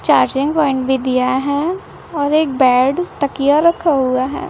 Charging point भी दिया है और एक बेड तकिया रखा हुआ है।